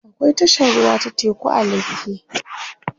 akwai tashar ruwa ta teku a lekki